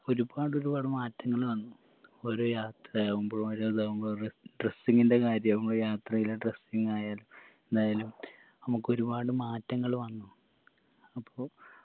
ഒരുപാട് ഒരുപാട് മാറ്റങ്ങള് വന്നു ഓരോ യാത്രയാവുമ്പോ ഓരോ ഇതാവുമ്പോ ര dressing ൻറെ കാര്യവുമ്പോ യാത്രയിലെ dressing ആയാലും ഇതായാലും നമക്ക് ഒരുപാട് മാറ്റങ്ങള് വന്നു അപ്പൊ